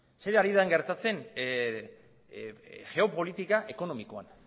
zer ari da gertatzen geopolitika ekonomikoan